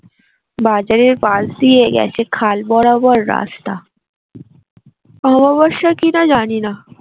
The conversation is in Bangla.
বাজারের পাশ দিয়ে গেছে খাল বরাবর রাস্তা অমাবস্যা কিনা জানি না